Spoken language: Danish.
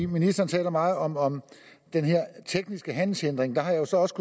ministeren taler meget om om den tekniske handelshindring der har jeg så også